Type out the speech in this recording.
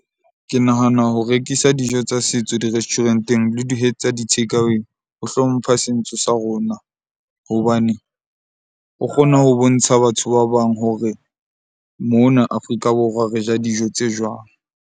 Ke nahana ho rekisa dijo tsa setso di-restaurant-eng le tsa di-takeaway ho hlompha sentso sa rona hobane, o kgona ho bontsha batho ba bang hore mona Afrika Borwa re ja dijo tse jwang.